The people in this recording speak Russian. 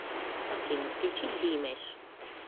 афина включи диимэш